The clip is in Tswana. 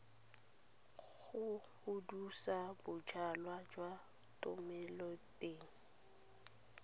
go hudusa bojalwa jwa thomeloteng